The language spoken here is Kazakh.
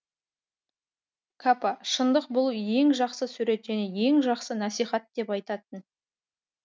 капа шындық бұл ең жақсы сурет және ең жақсы насихат деп айтатын